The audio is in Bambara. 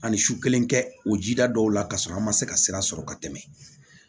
Ani su kelen kɛ o ji da dɔw la ka sɔrɔ an ma se ka sira sɔrɔ ka tɛmɛ